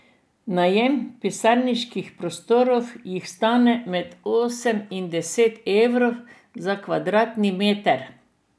Najem pisarniških prostorov jih stane med osem in deset evrov za kvadratni meter.